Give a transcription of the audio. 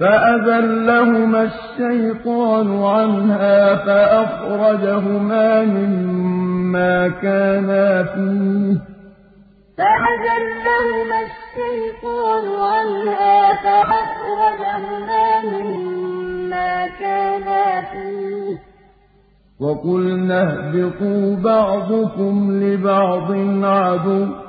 فَأَزَلَّهُمَا الشَّيْطَانُ عَنْهَا فَأَخْرَجَهُمَا مِمَّا كَانَا فِيهِ ۖ وَقُلْنَا اهْبِطُوا بَعْضُكُمْ لِبَعْضٍ عَدُوٌّ ۖ